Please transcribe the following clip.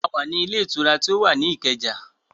A wá ní ilé ìtura tí ó wà ní Ìkẹjà